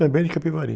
Também de Capivari.